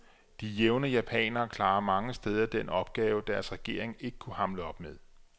De jævne japanere klarer mange steder den opgave, deres regering ikke kunne hamle op med.